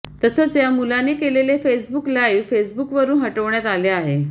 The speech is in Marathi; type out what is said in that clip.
तसंच या मुलाने केलेले फेसबुक लाईव्ह फेसबुकवरुन हटवण्यात आले आहे